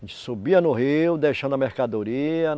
E subia no rio, deixando a mercadoria.